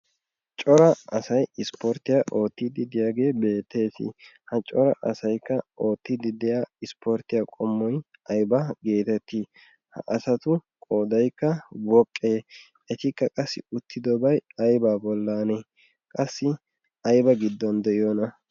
cora asay ispporttiya oottiiddi deyaagee beettees. ha cora asaikka oottiiddi de'a ispporttiya qommoi aiba geetettii ha asatu qodaikka woqqee etikka qassi uttidobai aiba bollan qassi ayba giddon de'iyoona?